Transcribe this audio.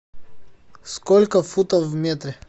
сколько футов в метре